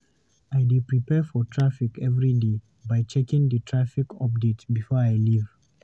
I dey prepare for traffic every day by checking the traffic update before I leave.